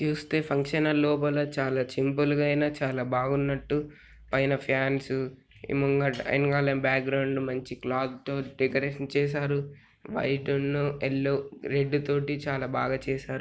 ఇది చూస్తే function hall . లోపల చాలా సింపుల్ గా ఐనా చాలా బాగున్నట్టు. పైన ఫాన్స్ ముంగట-ఎనుకాల బాక్గ్రౌండ్ మంచి క్లాత్ తో డెకరేషన్ చేసారు. వైట్ ఉన్ను యెల్ల రెడ్ తోటి చాలా బాగా చేసారు.